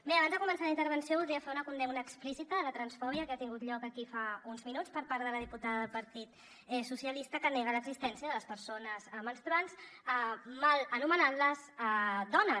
bé abans de començar la intervenció voldria fer una condemna explícita a la transfòbia que ha tingut lloc aquí fa uns minuts per part de la diputada del partit socialistes que nega l’existència de les persones menstruants mal anomenant les dones